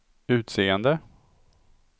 utseende